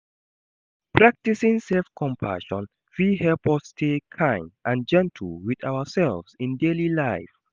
Practicing self-compassion fit help us stay kind and gentle with ourselves in daily life.